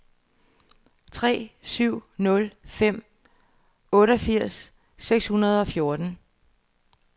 tre syv nul fem otteogfirs seks hundrede og fjorten